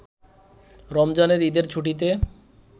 “রমজানের ঈদের ছুটিতে